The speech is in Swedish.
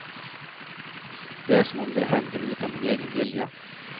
Det är som om det händer utan min egen vilja.